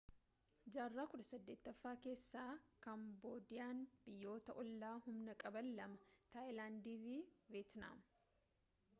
jaarraa 18ffaa keessa kaamboodiyaan biyyoota oollaa humna qaban lama taayilaandi fi veetnaam